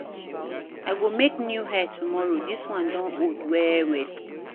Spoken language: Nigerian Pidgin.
I go make new hair tomorrow, dis one don old well-well.